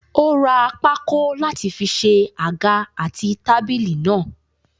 Ó ra pákó láti fi ṣe àga àti tábìlì náà.